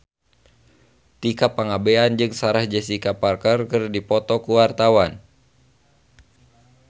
Tika Pangabean jeung Sarah Jessica Parker keur dipoto ku wartawan